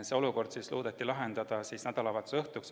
See olukord loodeti lahendada nädalavahetuse õhtuks.